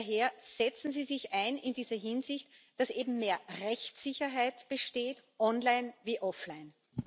Daher, setzen Sie sich in dieser Hinsicht ein, dass mehr Rechtssicherheit besteht, online wie offline!